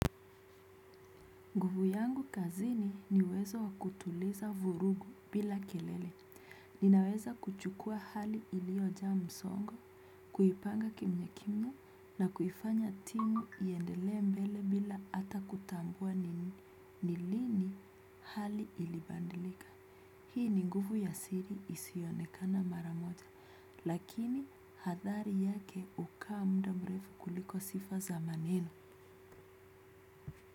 Nguvu yangu kazini ni uwezo wakutuliza vurugu bila kelele, ninaweza kuchukua hali iliyojaa msongo, kuipanga kimya kimya na kuifanya timu iendele mbele bila hata kutambua ni lini hali ilibadilika. Hii ni nguvu ya siri isiyoonekana mara moja, lakini hadhari yake hukaa muda mrefu kuliko sifa za maneno.